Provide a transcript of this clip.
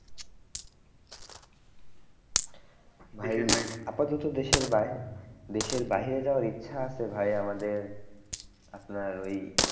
আপাতত দেশের বাহি দেশের বাহিরে যাওয়ার ইচ্ছা আছে ভাই আমাদের আপনারা ওই